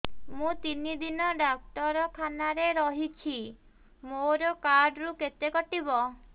ମୁଁ ତିନି ଦିନ ଡାକ୍ତର ଖାନାରେ ରହିଛି ମୋର କାର୍ଡ ରୁ କେତେ କଟିବ